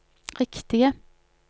riktige